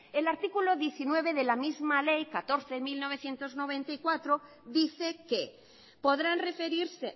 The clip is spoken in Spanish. el artículo diecinueve de la misma ley catorce barra mil novecientos noventa y cuatro dice que podrán referirse